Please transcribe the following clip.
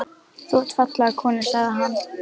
Þú átt fallega konu sagði hann.